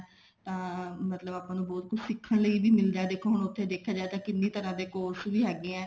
ਤਾਂ ਆਪਾਂ ਨੂ ਮਤਲਬ ਬਹੁਤ ਕੁੱਝ ਸਿੱਖਣ ਲਈ ਵੀ ਮਿਲਦਾ ਦੇਖੋ ਹੁਣ ਉੱਥੇ ਦੇਖਿਆ ਜਾਏ ਤਾਂ ਕਿੰਨੀ ਤਰ੍ਹਾਂ ਦੇ course ਵੀ ਹੈਗੇ ਆ